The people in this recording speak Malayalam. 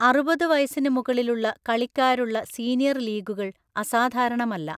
അറുപത് വയസ്സിന് മുകളിലുള്ള കളിക്കാരുള്ള സീനിയർ ലീഗുകൾ അസാധാരണമല്ല.